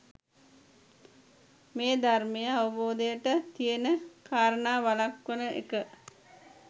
මේ ධර්මය අවබෝධයට තියෙන කාරණා වළක්වන එක